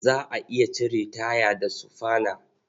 Za a iya cire taya da sufana.